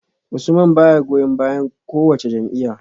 Usman baya goyon bayan kowace jam’iyya